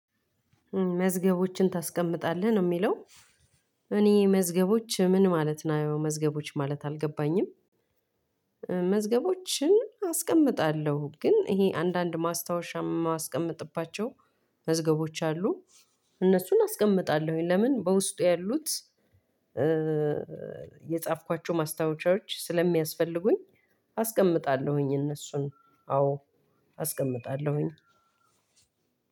መዝገቦችን ታስቀምጣለህ ነው ሚለው? እኔ መዝገቦች ምን ማለት ነው መዝገቦች ማለት አልገባኝም። መዝገቦችን አስቀምጣለሁ ግን ይሄ አንዳንድ ማስታወሻ ማስቀምጥባቸው። መዝገቦች አሉ። እነሱን አስቀምጣለሁኝ ለምን በውስጡ ያሉት? የጻፍኳቸው ማስታወሻዎች ስለሚያስፈልጉኝ። አስቀምጣለሁኝ እነሱን አዎ አስቀምጣለሁኝ።